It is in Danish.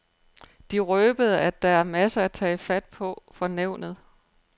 De røbede, at der er masser at tage fat på for nævnet.